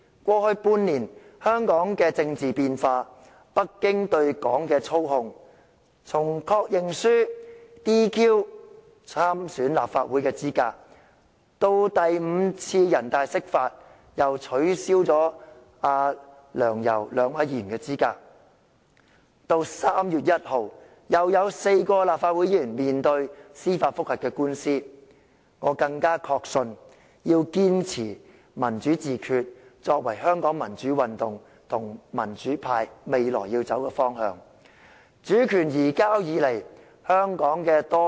過去半年，我目睹香港的政治變化及北京對本港的操控，從以確認書 "DQ" 參選立法會的資格，到第五次人大釋法，繼而取消梁、游兩位議員的資格，到3月1日又有4位議員面對司法覆核的聆訊，我更確信要堅持"民主自決"作為香港民主運動及民主派未來的方向。